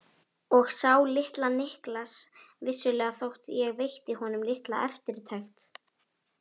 Og sá litla Niklas vissulega þótt ég veitti honum litla eftirtekt.